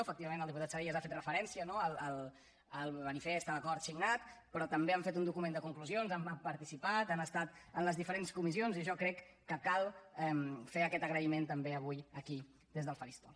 efectivament el diputat salellas ha fet referència no al manifest a l’acord signat però també han fet un document de conclusions han participat han estat en les diferents comissions i jo crec que cal fer aquest agraïment també avui aquí des del faristol